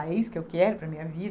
Ah, é isso que eu quero para minha